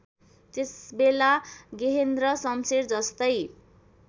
त्यसबेला गेहेन्द्र शमशेरजस्तै